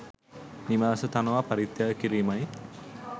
නිවාස තනවා පරිත්‍යාග කිරීමයි.